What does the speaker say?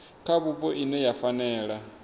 kha vhupo ine ya fanela